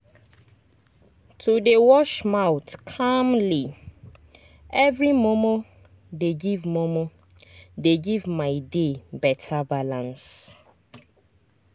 to dey wash mouth calmly every momo dey give momo dey give my day better balance